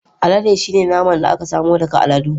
Alade shine naman da aka samo daga aladu.